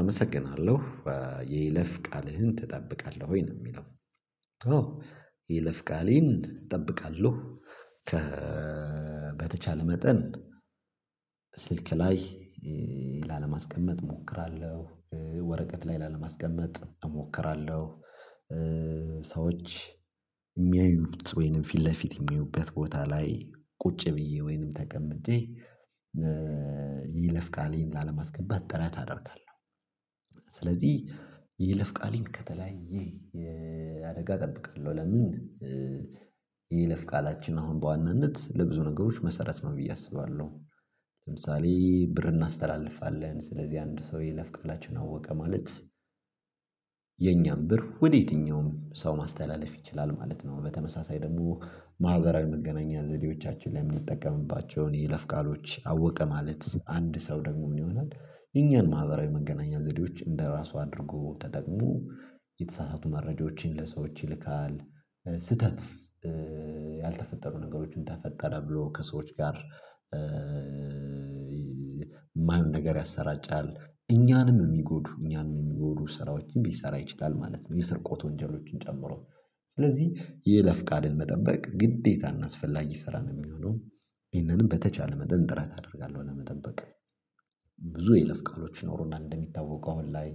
አመሰግናለሁ የይለፍ ቃልህን ትጠብቃለህ ወይ ነው የሚለው? ኦ ይለፍ እጠብቃለሁ ከበተቻለ መጠን ስልክ ላይ ላለማስቀመጥ እሞክራለሁ። ወረቀት ላይ ላለማስቀመጥ እሞክራለሁ። ሰዎች የሚያዩት ወይንም ፊት ለፊት የሚያዩበት ቦታ ላይ ቁጭ ብዬ ወይንም ተቀምጬ። ይለፍ ቃሌን ላለማስገባት ጥረት አደርጋለሁ። ስለዚህ የለፍ ቃልን ከተለያየ የአደጋ እጠብቃለሁ ለምን? ይለፍ ቃላችን አሁን በዋናነት ለብዙ ነገሮች መሰረት ነው ብዬ አስባለሁ። ለምሳሌ ብር እናስተላልፋለን ስለዚህ አንድ ሰው የለፍ ቃላችን አወቀ ማለት። የኛም ብር ወደ የትኛውም ሰው ማስተላለፍ ይችላል ማለት ነው። በተመሳሳይ ደግሞ ማህበራዊ መገናኛ ዘዴዎቻችን ላይ የምንጠቀምባቸውን ይለፍ ቃሎች አወቀ ማለት አንድ ሰው ደግሞ ምን ይሆናል? የኛን ማህበራዊ መገናኛ ዘዴዎች እንደራሱ አድርጎ ተጠቅሞ የተሳሳቱ መረጃዎችን ለሰዎች ይልካል። ስህተት ያልተፈጠሩ ነገሮችን ተፈጠረ ብሎ ከሰዎች ጋር። የማይሆን ነገር ያሰራጫል። እኛንም የሚጎዱ እኛንም የሚጎዱ ስራዎችን ሊሰራ ይችላል ማለት ነው። የስርቆት ወንጀሎችን ጨምሮ። ስለዚህ የለፍ ቃልን መጠበቅ ግዴታ እናስፈላጊ ስራ ነው የሚሆነው። ይህንን በተቻለ መጠን ጥረት አደርጋለሁ ለመጠበቅ። ብዙ የለፍ ቃሎች ኖሮና እንደሚታወቀው አሁን ላይ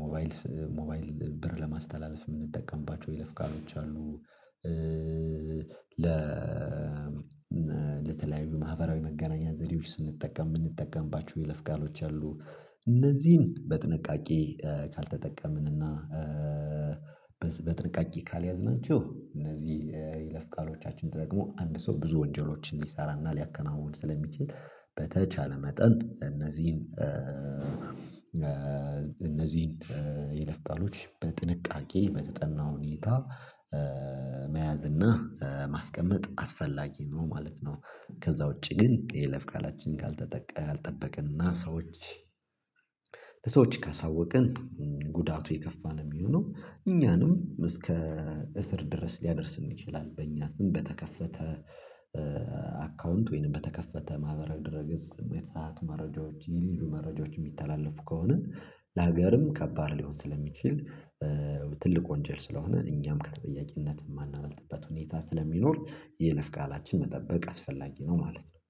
ሞባይል ሞባይል ብር ለማስተላለፍ የምንጠቀምባቸው ይለፍ ካሎች አሉ። ለተለያዩ ማህበራዊ መገናኛ ዘዴዎች ስንጠቀም የምንጠቀምባችሁ የይለፍ ቃሎች አሉ። እነዚህን በጥንቃቄ ካልተጠቀምን እና በጥንቃቄ ካልያዝናችሁ እነዚህ የይለፍ ቃሎቻችን ተጠቅሞ አንድ ሰው ብዙ ወንጀሎችን ሊሰራና ሊያከናውን ስለሚችል። በተቻለ መጠን እነዚህን አመሰግናለሁ። የይለፍ ቃልህን ትጠብቃለህ ወይ ነው የሚለው? ኦ ይለፍ እጠብቃለሁ ከበተቻለ መጠን ስልክ ላይ ላለማስቀመጥ እሞክራለሁ። ወረቀት ላይ ላለማስቀመጥ እሞክራለሁ። ስሜት ሰዓት መረጃዎች የሌሉ መረጃዎች የሚተላለፉ ከሆነ ለሀገርም ከባድ ሊሆን ስለሚችል። ትልቅ ወንጀል ስለሆነ እኛም ከተጠያቂነት የማናመልጥበት ሁኔታ ስለሚኖር የይለፍ ቃላችንን መጠበቅ አስፈላጊ ነው ማለት ነው።